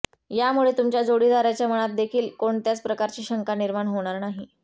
यामुळे तुमच्या जोडीदाराच्या मनात देखील कोणत्याच प्रकारची शंका निर्माण होणार नाही